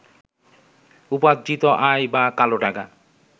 উপার্জিত আয় বা কালো টাকা